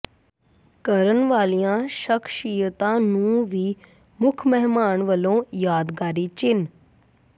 ਕਰਨ ਵਾਲੀਆ ਸ਼ਖਸ਼ੀਅਤਾ ਨੂੰ ਵੀ ਮੁੱਖ ਮਹਿਮਾਨ ਵੱਲੋ ਯਾਦਗਾਰੀ ਚਿੰਨ